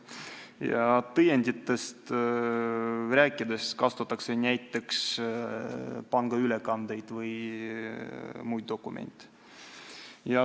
Kui rääkida tõenditest, siis kasutatakse näiteks pangaülekandeid või muid dokumente.